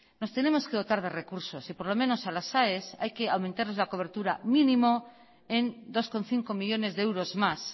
nos tenemos que dotar de recursos y por lo menos a las aes hay que aumentarles la cobertura mínimo en dos coma cinco millónes de euros más